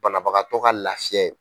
Banabagatɔ ka laafiya ye.